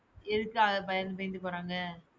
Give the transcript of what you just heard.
எதுக்காக பயந்து பயந்து போறாங்க?